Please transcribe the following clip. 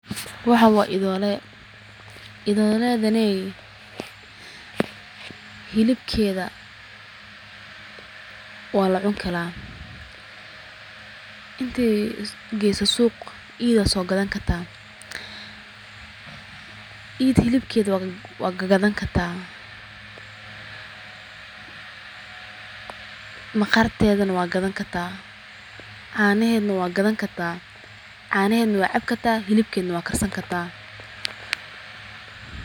Waxan waa idoole, idooledaney hilibkeefa waa lacuni kara inti geyso suq iyid wad soo gadan karta, iyid hilibked wad gagadan karta, maqaartedana wad gadan karta, caanahed na waa gada karta caanahed na waa cabi karta, hilibked na waa karsan kartaa